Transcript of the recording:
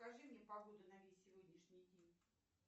покажи мне погоду на весь сегодняшний день